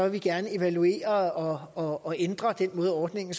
vi gerne evaluere og og ændre den måde ordningen